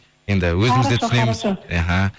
енді өзіміз де түсінеміз іхі